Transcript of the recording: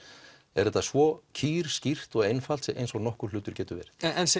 er þetta svo kýrskýrt og svo einfalt sem nokkur hlutur getur verið en